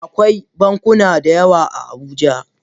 Akwai bankuna da yawa a Abuja